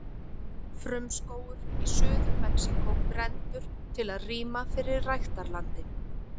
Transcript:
Frumskógur í Suður-Mexíkó brenndur til að rýma fyrir ræktarlandi.